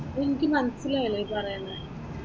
എനിക്ക് മനസിലായില്ല ഈ പറയെണ.